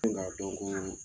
N ka don ko